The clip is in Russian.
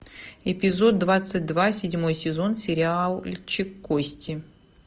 эпизод двадцать два седьмой сезон сериальчик кости